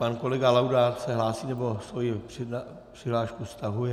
Pan kolega Laudát se hlásí, nebo svoji přihlášku stahuje?